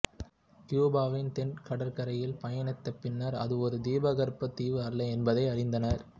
கியூபாவின் தென் கடற்கரையில் பயணித்து பின்னர் அது ஒரு தீபகற்பம் தீவு அல்ல என்பதை அறிந்தார்